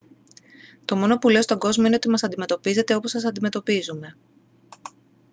το μόνο που λέω στον κόσμο είναι ότι μας αντιμετωπίζετε όπως σας αντιμετωπίζουμε